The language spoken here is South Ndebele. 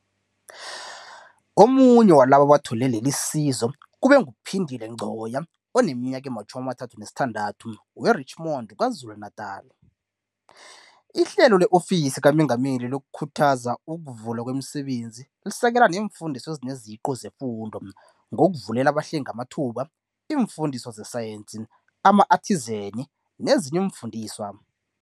Omunye walabo abathole lelisizo kube nguPhindile Ngcoya, oneminyaka ema-36, we-Richmond, KwaZulu-Natala. IHlelo le-Ofisi kaMengameli lokuKhuthaza ukuVulwa kwemiSebenzi lisekela neemfundiswa ezineziqu zefundo, ngokuvulela abahlengi amathuba, iimfundiswa zesayensi, ama-athizeni nezinye iimfundiswa.